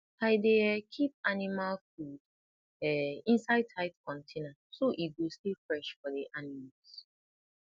i dey um keep animal food um inside tight container so e go stay fresh for the animals